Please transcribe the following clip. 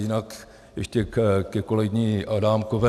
Jinak ještě ke kolegyni Adámkové.